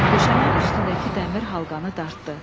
Döşəmənin üstündəki dəmir halqanı dartdı.